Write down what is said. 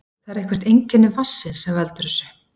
Það er eitthvert einkenni vatnsins sem veldur þessu.